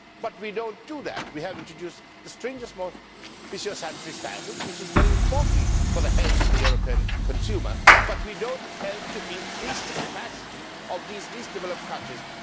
But we do not do that. We have introduced stringent standards, which is very important for the health of the European consumer, but we do not help to increase the capacity of these least developed countries.